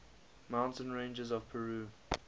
mountain ranges of peru